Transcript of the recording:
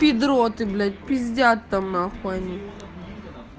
педро ты блять пиздят там нахуй они